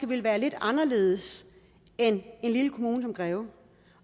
ville være lidt anderledes end i en lille kommune som greve